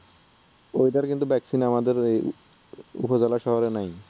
ঐটার কিন্তু vaccine আমাদের ঐ উপজেলা শহরে নাই